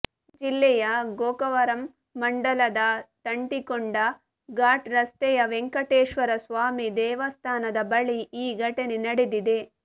ಜಿಲ್ಲೆಯ ಗೋಕವರಂ ಮಂಡಲದ ತಂಟಿಕೊಂಡ ಘಾಟ್ ರಸ್ತೆಯ ವೆಂಕಟೇಶ್ವರಸ್ವಾಮಿ ದೇವಸ್ಥಾನದ ಬಳಿ ಈ ಘಟನೆ ನಡೆದಿದೆ